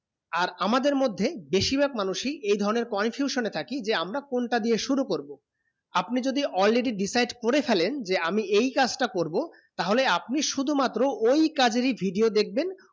আর আমাদের মদদে বেশি ভায়াক মানুয়ে এই ধারণে confusion এ থাকি যে আমরা কোন টা দিয়ে শুরু করবো আপনি যদি already decide করে ফেলেন যে আমি এই কাজ টা করবো টা হলে আপনি শুধু মাত্র ঐই কাজের ই video দেখবেন